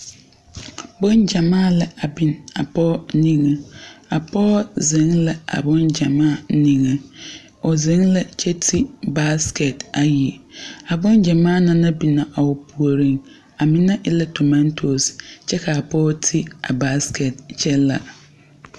Boŋ gyamaa la a biŋ a pɔgɔ niŋe. A pɔgɔ zeŋ la a boŋ gyamaa niŋe. O zeŋ la kyɛ te baaskɛt ayi. A boŋ gyamaa na naŋ biŋ a o pooreŋ, a mene e la tomatos kyɛ ka pɔgɔ te a baaskɛt kyɛ la